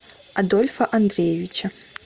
адольфа андреевича